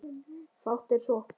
Fátt er svo.